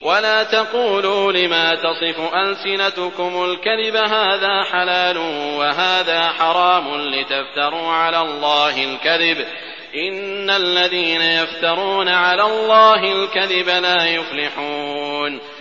وَلَا تَقُولُوا لِمَا تَصِفُ أَلْسِنَتُكُمُ الْكَذِبَ هَٰذَا حَلَالٌ وَهَٰذَا حَرَامٌ لِّتَفْتَرُوا عَلَى اللَّهِ الْكَذِبَ ۚ إِنَّ الَّذِينَ يَفْتَرُونَ عَلَى اللَّهِ الْكَذِبَ لَا يُفْلِحُونَ